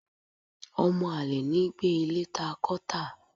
ọmọ alẹ̀ ní gbé ilé ta kọ tá